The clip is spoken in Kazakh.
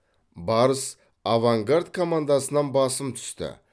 барыс авангард командасынан басым түсті